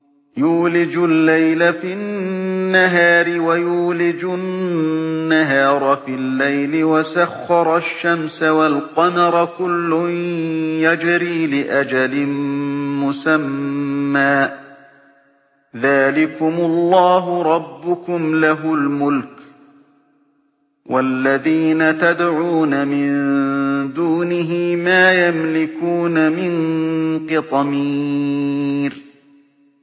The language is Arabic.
يُولِجُ اللَّيْلَ فِي النَّهَارِ وَيُولِجُ النَّهَارَ فِي اللَّيْلِ وَسَخَّرَ الشَّمْسَ وَالْقَمَرَ كُلٌّ يَجْرِي لِأَجَلٍ مُّسَمًّى ۚ ذَٰلِكُمُ اللَّهُ رَبُّكُمْ لَهُ الْمُلْكُ ۚ وَالَّذِينَ تَدْعُونَ مِن دُونِهِ مَا يَمْلِكُونَ مِن قِطْمِيرٍ